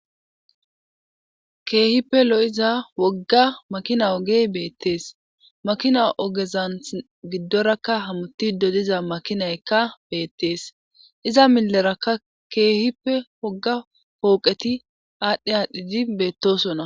keehippe lo7iza wogga makina ogey beettees makina ogezan giddorakka hamuttide diza makinaykka beettees iza milerakka keehippe wogga pooqeti aadhdhi aadhdhidi beettosona.